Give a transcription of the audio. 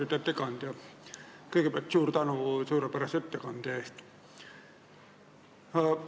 Austatud ettekandja, kõigepealt suur tänu suurepärase ettekande eest!